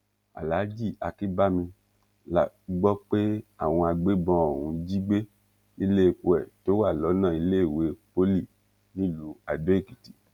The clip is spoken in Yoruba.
alhaji akínbámi la gbọ́ pé àwọn agbébọn ọ̀hún jí gbé níléèpo ẹ̀ tó wà lọ́nà iléèwé poly nílùú adó èkìtì